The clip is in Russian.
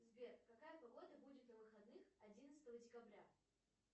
сбер какая погода будет на выходных одиннадцатого декабря